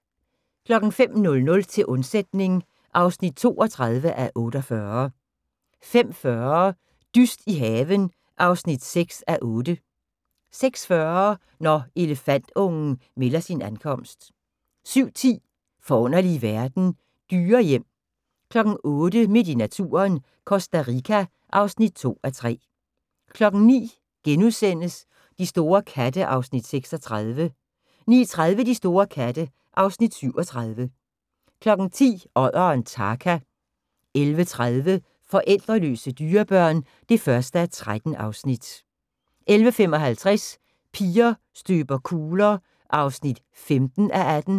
05:00: Til undsætning (32:48) 05:40: Dyst i haven (6:8) 06:40: Når elefantungen melder sin ankomst 07:10: Forunderlige verden - dyrehjem 08:00: Midt i naturen – Costa Rica (2:3) 09:00: De store katte (Afs. 36)* 09:30: De store katte (Afs. 37) 10:00: Odderen Tarka 11:30: Forældreløse dyrebørn (1:13) 11:55: Piger støber kugler (15:18)